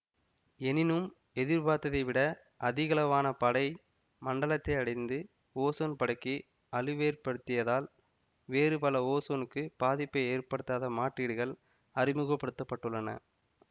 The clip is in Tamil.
எனினும் எதிர்பார்த்ததை விட அதிகளவான படை மண்டலத்தை அடைந்து ஓசோன் படைக்கு அழிவேற்படுத்தியதால் வேறு பல ஓசோனுக்கு பாதிப்பை ஏற்படுத்தாத மாற்றீடுகள் அறிமுகப்படுத்த பட்டுள்ளன